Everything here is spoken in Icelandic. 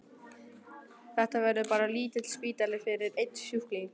Þetta verður bara lítill spítali fyrir einn sjúkling.